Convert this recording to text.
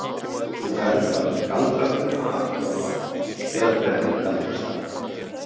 Þú ferð bara með galdraþuluna aftur á bak eða brennir galdrastafinn.